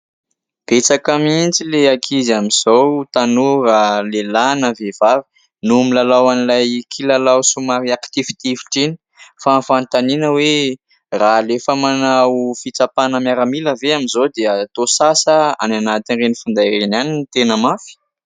Betsaka mihitsy ilay ankizy amin'izao, tanora, lehilahy na vehivavy no milalao an'ilay kilalao somary akitifitifitra iny fa ny fanontaniana hoe raha alefa manao fitsapana miaramila ve amin'izao dia toa sahy sa any anatin'ireny finday ireny ihany no tena mafy ?